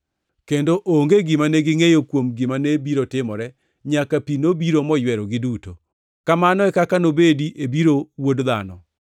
kendo onge gima negingʼeyo kuom gima ne biro timore nyaka pi nobiro moywerogi duto. Kamano e kaka nobedi e biro Wuod Dhano.